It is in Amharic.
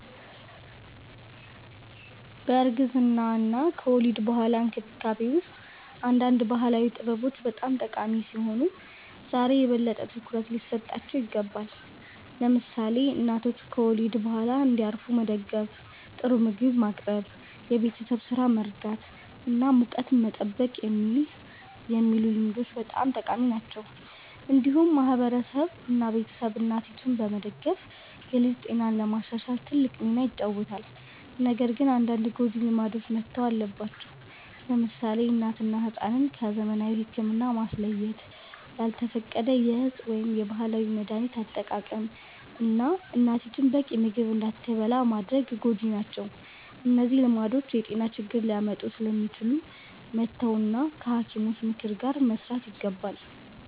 በእርግዝና እና ከወሊድ በኋላ እንክብካቤ ውስጥ አንዳንድ ባህላዊ ጥበቦች በጣም ጠቃሚ ሲሆኑ ዛሬ የበለጠ ትኩረት ሊሰጣቸው ይገባል። ለምሳሌ እናቶች ከወሊድ በኋላ እንዲያርፉ መደገፍ፣ ጥሩ ምግብ ማቅረብ፣ የቤት ስራ መርዳት እና ሙቀት መጠበቅ የሚሉ ልምዶች በጣም ጠቃሚ ናቸው። እንዲሁም ማህበረሰብ እና ቤተሰብ እናቲቱን በመደገፍ የልጅ ጤናን ለማሻሻል ትልቅ ሚና ይጫወታሉ። ነገር ግን አንዳንድ ጎጂ ልማዶች መተው አለባቸው። ለምሳሌ እናትን እና ሕፃንን ከዘመናዊ ሕክምና ማስለየት፣ ያልተፈቀደ የእፅ ወይም የባህላዊ መድሀኒት አጠቃቀም፣ እና እናቲቱ በቂ ምግብ እንዳትበላ ማድረግ ጎጂ ናቸው። እነዚህ ልማዶች የጤና ችግር ሊያመጡ ስለሚችሉ መተው እና ከሐኪሞች ምክር ጋር መስራት ይገባል።